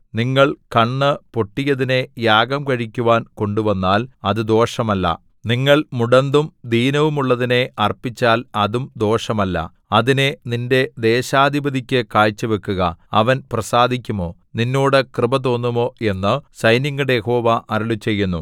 നിങ്ങൾ കണ്ണ് പൊട്ടിയതിനെ യാഗം കഴിക്കുവാൻ കൊണ്ടുവന്നാൽ അത് ദോഷമല്ല നിങ്ങൾ മുടന്തും ദീനവുമുള്ളതിനെ അർപ്പിച്ചാൽ അതും ദോഷമല്ല അതിനെ നിന്റെ ദേശാധിപതിക്കു കാഴ്ച വെക്കുക അവൻ പ്രസാദിക്കുമോ നിന്നോട് കൃപ തോന്നുമോ എന്നു സൈന്യങ്ങളുടെ യഹോവ അരുളിച്ചെയ്യുന്നു